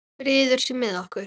Friður sé með okkur.